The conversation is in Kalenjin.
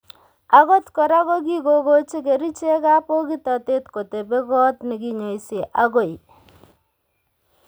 Agot kora ko kikokochi kerichekab bokitotet kotebee koot nekinyoise agoi